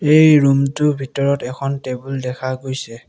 এই ৰুম টোৰ ভিতৰত এখন টেবুল দেখা গৈছে।